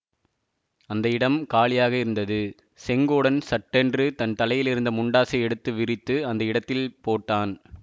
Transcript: அந்த இடம் காலியாக இருந்தது செங்கோடன் சட்டென்று தன் தலையிலிருந்த முண்டாசை எடுத்து விரித்து அந்த இடத்தில் போட்டான்